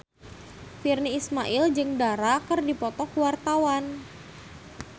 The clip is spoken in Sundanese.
Virnie Ismail jeung Dara keur dipoto ku wartawan